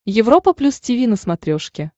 европа плюс тиви на смотрешке